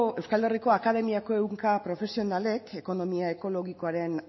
euskal herriko akademiako ehunka profesionalek ekonomia ekologikoaren